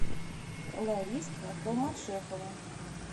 лариска холматшехова